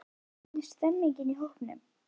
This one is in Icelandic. Hvernig stemmningin í hópnum?